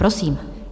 Prosím.